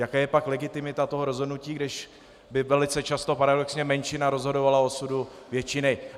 Jaká je pak legitimita toho rozhodnutí, když by velice často paradoxně menšina rozhodovala o osudu většiny?